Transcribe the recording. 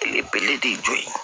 Belebele de jɔ ye